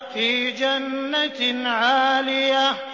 فِي جَنَّةٍ عَالِيَةٍ